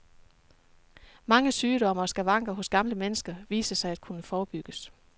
Mange sygdomme og skavanker hos gamle mennesker viser sig at kunne forebygges.